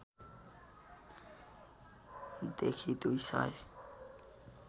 देखि २ सय